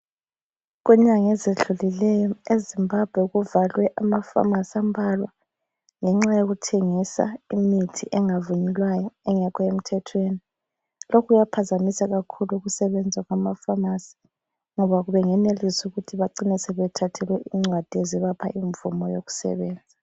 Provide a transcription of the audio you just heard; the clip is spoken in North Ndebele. Kunyanga ezidlulileyo eZimbabwe kuvalwe amafamasi ambalwa, ngenxa yokuthengisa imithi engavunyelwayo engekho emthethweni. Lokhu kuyaphazamisa kakhulu ukusebenza kwamafamasi ngoba bengenelisa ukuthi ubacine sebethathelwe incwadi ezibapha imvumo yokusebenza.